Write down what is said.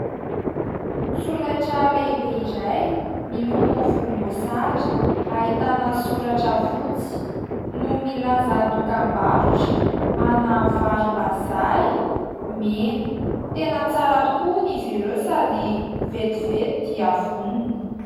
Solaitra lehibe iray miloko volomboasary, ahitana soratra fotsy no milaza dokambarotra ana varim-bazaha mena, tena tsara toko hono izy ireo sady vetivety dia vonona.